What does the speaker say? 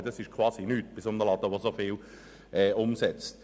Was diese beiträgt, ist praktisch nichts für einen Betrieb mit so viel Umsatz.